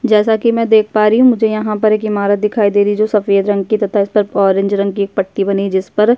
जैसा की मैं देख पा रही हूँ मुझे यहाँ पर एक इमारत दिखाई देरी है जो सफ़ेद रंग की है तथा इस पर ऑरेंज रंग की एक पट्टी बनी है जिसपर --